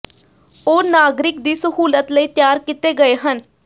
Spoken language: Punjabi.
ਉਹ ਨਾਗਰਿਕ ਦੀ ਸਹੂਲਤ ਲਈ ਤਿਆਰ ਕੀਤੇ ਗਏ ਹਨ